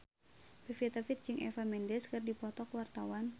Pevita Pearce jeung Eva Mendes keur dipoto ku wartawan